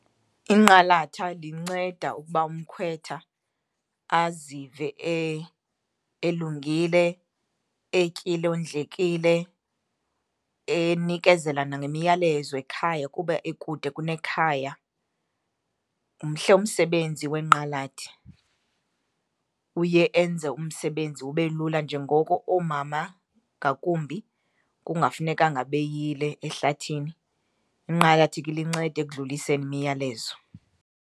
Inqalatha linceda ukuba umkhwetha azive elungile, etyile, ondlekile, enikezela nangemiyalezo ekhaya kuba ekude nekhaya. Mhle umsebenzi wenqalathi. Uye enze umsebenzi ube lula njengoko oomama ngakumbi kungafunekanga beyile ehlathini, inqalathi ke lincede ekudluliseni imiyalezo.